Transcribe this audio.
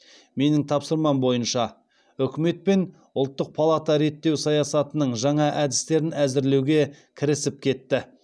менің тапсырмам бойынша үкімет пен ұлттық палата реттеу саясатының жаңа әдістерін әзірлеуге кірісіп кетті